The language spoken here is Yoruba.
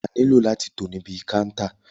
Wà nílò láti tò níbi kántà.